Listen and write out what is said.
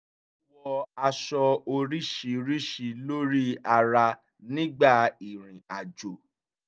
ó wọ aṣọ oríṣìíríṣìí lórí ara nígbà ìrìnàjò